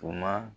Tuma